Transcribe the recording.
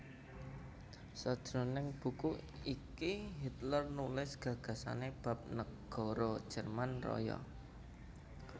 Sajroning buku iki Hitler nulis gagasané bab negara Jerman Raya